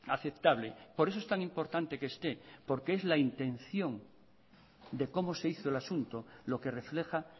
aceptable por eso es tan importante que esté porque es la intención de cómo se hizo el asunto lo que refleja